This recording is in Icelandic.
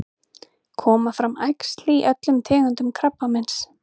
koma fram æxli í öllum tegundum krabbameins